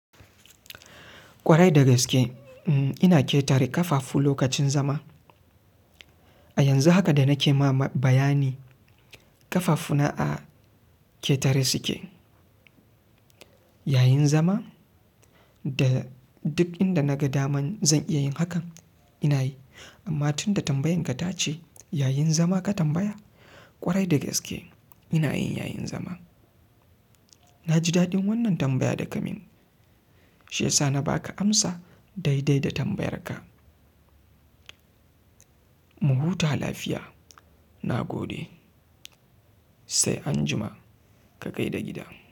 Kwarai da gaske ina ƙetare ƙafafu lokacin zama. A yanzu haka da nake ma bayani ƙafafuna a ƙetare suke. Yayin zama? Da duk inda naga daman zan iya yin hakan ina yi. Amma tun da tambayan ka ta ce yayin zama ka tambaya, ƙwarai da gaske ina yin yayin zama. Na ji daɗin wannan tambaya da ka min. Shiyasa na ba ka amsa daidai da tambayar ka. Muhuta lafiya, na gode. Sai anjima ka kai da gida.